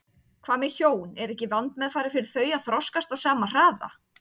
Hvað með hjón, er ekki vandmeðfarið fyrir þau að þroskast á sama hraða?